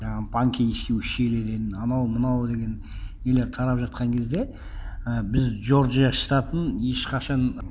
жаңағы панкисский ущельеден анау мынау деген нелер тарап жатқан кезде і біз джорджия штатын ешқашан